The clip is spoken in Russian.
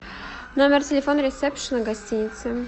номер телефона ресепшена гостиницы